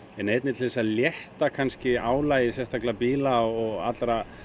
en einnig til að létta álagið sérstaklega bíla og allra